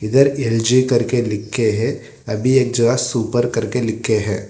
इधर एल_जी करके लिख के है अभी एक जगह सुपर करके लिख के है।